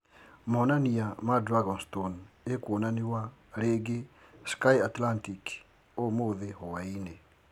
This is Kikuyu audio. Monania ma Dragonstone ĩkwonaniwa ringĩ Sky Atlantic umuthĩ hwaĩnĩ